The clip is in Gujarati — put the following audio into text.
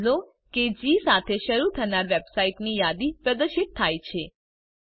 નોંધ લો કે જી સાથે શરૂ થનાર વેબસાઇટ્સ ની યાદી પ્રદર્શિત થાય છે